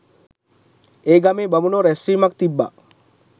ඒ ගමේ බමුණෝ රැස්වීමක් තිබ්බා